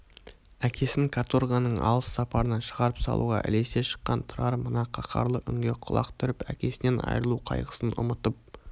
әкесін каторганың алыс сапарына шығарып салуға ілесе шыққан тұрар мына қаһарлы үнге құлақ түріп әкесінен айырылу қайғысын ұмытып